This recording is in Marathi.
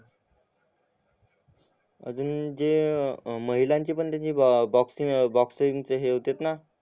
अजून जे अं महिलांचे पण तशे बॉक्सिंग अं बॉक्सिंगचे हे होतेत ना